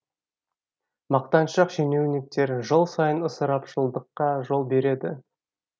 мақтаншақ шенеуніктер жыл сайын ысырапшылдыққа жол береді